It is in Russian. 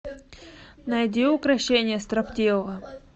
найди укрощение строптивого